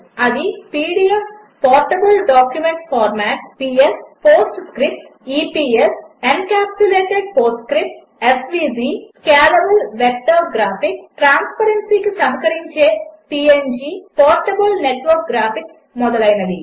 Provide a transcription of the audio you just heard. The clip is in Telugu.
అవి PDF portable document format PS PostScript EPS encapsulated PostScript SVG scalable vector graphics ట్రాస్పరెన్సీకి సహకరించే పీఎన్జీ పోర్టబుల్ నెట్వర్క్ గ్రాఫిక్స్ మొదలైనవి